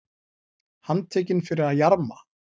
Handtekinn fyrir að jarma